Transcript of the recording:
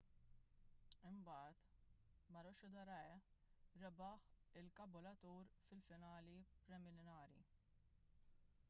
imbagħad maroochydore rebaħ lil caboolture fil-finali preliminari